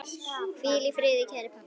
Hvíl í friði, kæri pabbi.